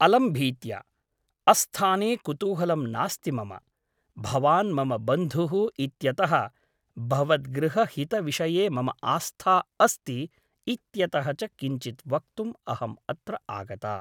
अलं भीत्या । अस्थाने कुतूहलं नास्ति मम । भवान् मम बन्धुः इत्यतः भवद्गृहहितविषये मम आस्था अस्ति इत्यतः च किञ्चित् वक्तुम् अहम् अत्र आगता ।